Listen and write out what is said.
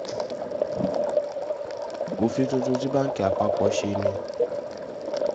òfin tuntun tí báǹkì àpapọ̀ ṣe ni